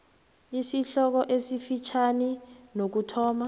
isihloko esifitjhani nokuthoma